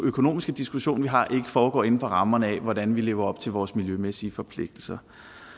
økonomiske diskussion vi har ikke foregår inden for rammerne af hvordan vi lever op til vores miljømæssige forpligtelser